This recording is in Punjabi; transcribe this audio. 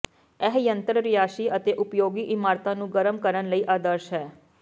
ਇਹ ਯੰਤਰ ਰਿਹਾਇਸ਼ੀ ਅਤੇ ਉਪਯੋਗੀ ਇਮਾਰਤਾਂ ਨੂੰ ਗਰਮ ਕਰਨ ਲਈ ਆਦਰਸ਼ ਹੈ